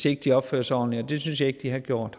ikke opfører sig ordentligt og det synes jeg ikke de har gjort